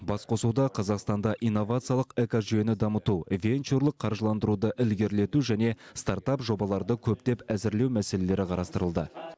басқосуда қазақстанда инновациялық экожүйені дамыту венчурлық қаржыландыруды ілгерілету және стартап жобаларды көптеп әзірлеу мәселелері қарастырылды